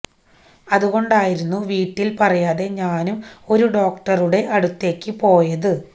അതുകൊണ്ടായിരുന്നു വീട്ടില് പറയാതെ ഞാനും ഒരു ഡോക്ടറുടെ അടുത്തേക്ക് പോയത്